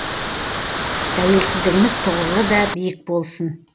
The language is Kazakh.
тәуелсіздігіміз тұғырлы да биік болсын